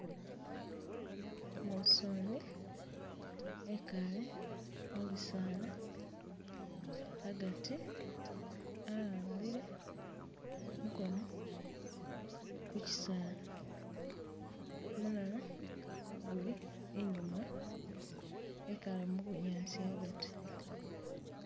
Musuni ekaale mubisaala agati a'ambile mukono kukyisaala mulala guli inyuma ekaale mubunyaasi agati